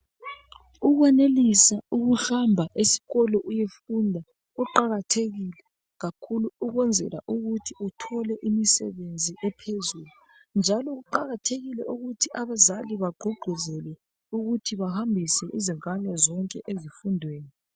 Ukwenelisa ukuhamba esikolo uyefunda kuqakathekile kakhulu ukwenzela ukuthi uthole imisebenzi ephezulu njalo kuqakathekile ukuthi abazali bagqugquzele ukuthi bahambise izingane zonke ezifundweni